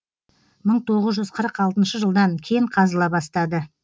мың тоғыз жүз қырық алтыншы жылдан кен қазыла бастады